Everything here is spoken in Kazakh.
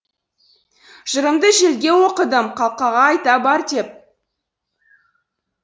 жырымды желге оқыдым қалқаға айта бар деп